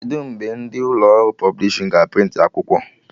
Kedụ mgbe ndị ụlọ ọrụ pọblishin ga a prịntị akwụkwọ?